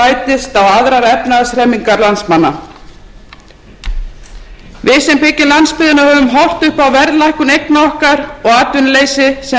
er staðreynd sem bætist á aðrar efnahagshremmingar landsmanna við sem byggjum landsbyggðina höfum horft upp á verðlækkun eigna okkar og atvinnuleysi sem